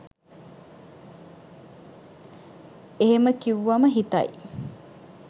එහෙම කිව්වම හිතයි